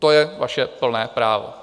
To je vaše plné právo.